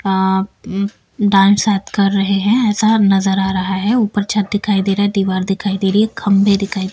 अ dance शायद कर रहे हैं ऐसा नजर आ रहा है ऊपर छत दिखाई दे रहा है दीवार दिखाई दे रही है खंभे दिखाई--